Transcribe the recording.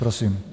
Prosím.